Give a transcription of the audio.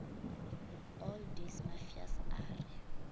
all days mmafeus a re